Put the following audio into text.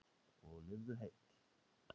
Og lifðu heil!